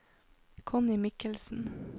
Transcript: Connie Mikkelsen